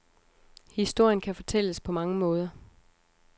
Historien kan fortælles på mange måder.